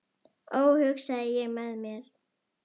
Ó hugsaði ég með mér.